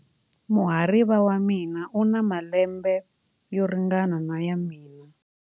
Muhariva wa mina u na malembe yo ringana na ya mina.